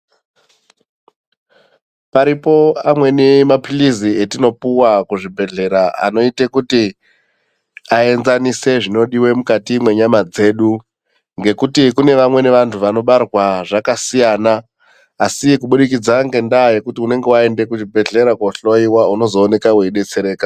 Paripo amweni maphilizi etinopuwa kuzvibhehlera anoite kuti aenzanise zvinodiwe mukati mwenyama dzedu. Ngekuti kune vamweni vanhu vanobarwa zvakasiyana asi kuburikidza ngendaa yekuti unenge waende kuzvibhehlera kuohloyiwa unozooneka weidetsereka.